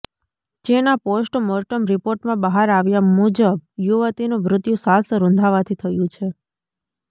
જેના post mortem રિપોર્ટમાં બહાર આવ્યા મુજબ યુવતીનું મૃત્યુ શ્વાસ રૂંધાવાથી થયું છે